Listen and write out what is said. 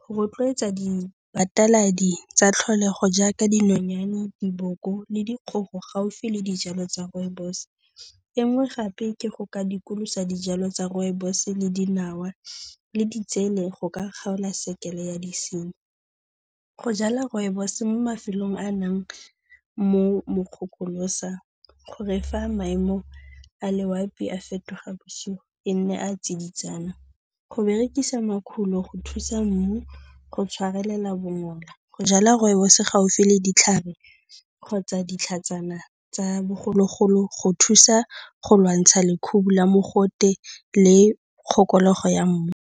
go rotloetsa dibataladi tsa tlholego jaaka dinonyane, diboko le dikgogo gaufi le dijalo tsa rooibos. E nngwe gape ke go ka dikolosa dijalo tsa rooibos le dinawa le ditsele go ka kgaola sekele ya disenyi. Go jala rooibos mo mafelong a a nnang mo mokgokolosa gore fa maemo a loapi a fetoga bosigo e nne a a tsiditsana. Go berekisa makhulo go thusa mmu go tshwarelela bongola, go jwala rooibos gaufi le ditlhare kgotsa ditlhatsana tsa bogologolo, go thusa go lwantsha lekhubu la mogote le kgokologo ya mmu.